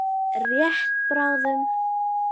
Rétt bráðum.